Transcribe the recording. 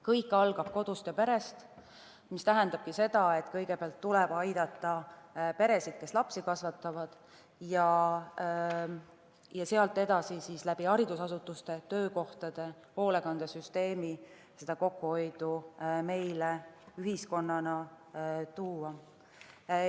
Kõik algab kodust ja perest, mis tähendab seda, et kõigepealt tuleb aidata peresid, kes lapsi kasvatavad, ja sealt edasi haridusasutuste, töökohtade ja hoolekandesüsteemi kaudu seda kokkuhoidu meile ühiskonnana luua.